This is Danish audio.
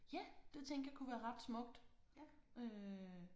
Ja det tænkte jeg kunne være ret smukt øh